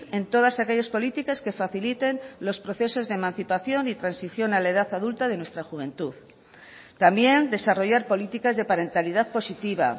en todas aquellas políticas que faciliten los procesos de emancipación y transición a la edad adulta de nuestra juventud también desarrollar políticas de parentalidad positiva